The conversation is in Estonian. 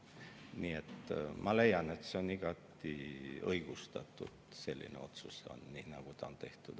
Nii et ma leian, et selline otsus on igati õigustatud, nii nagu see on tehtud.